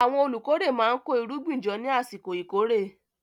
Àwọn olùkórè máa ń kó irúgbìn jọ ní àsìkò ìkórè.